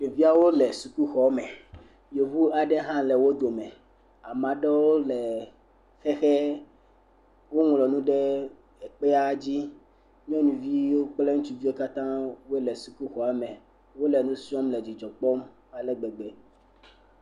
Ɖeviawo le sukuxɔ me. Yevu aɖe hã le wo dome. Ame aɖewo le xexe, woŋlɔ nu ɖe kpea dzi. Nyɔnuvi kple ŋutsuviwo katã wole sukuxɔa me. Wole nu srɔ̃m le dzidzɔ kpɔm ale gbegbe.